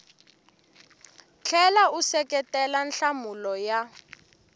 tlhela u seketela nhlamulo ya